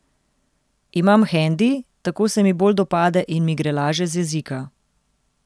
Imam hendi, tako se mi bolj dopade in mi gre laže z jezika.